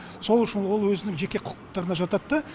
сол үшін ол өзінің жеке кұкықтығына жатады да